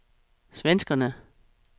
svenskerne